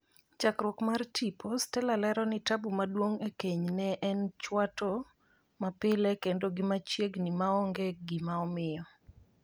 chakruok mar tipo ,Stella lero ni tabu maduong' e keny ne en chwato mapile kendo gi machiegni ma onge gima omiyo.